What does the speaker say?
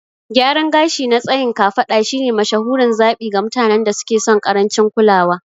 Gyaran gashi na tsayin kafada shine mashahurin zaɓi ga mutanen da suke son ƙarancin kulawa.